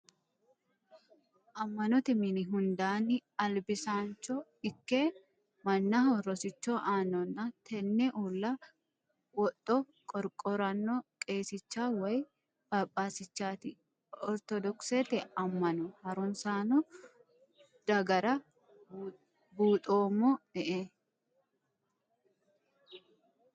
Ama'note mini hundanni albisaancho ikke mannaho rosicho aanonna tene uulla wodho qorqorano qeesicha woyi papasichati orthodokisete ama'no harunsano dagara buuxoommo ee.